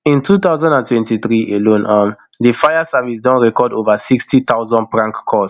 in two thousand and twenty-three alone um di fire service don record ova sixty thousand prank calls